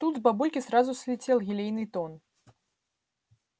тут с бабульки сразу слетел елейный тон